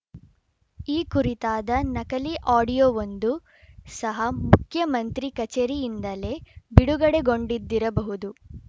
ಈ ಕುರಿತಾದ ನಕಲಿ ಆಡಿಯೋವೊಂದು ಸಹ ಮುಖ್ಯಮಂತ್ರಿ ಕಚೇರಿಯಿಂದಲೇ ಬಿಡುಗಡೆಗೊಂಡಿದ್ದಿರಬಹುದು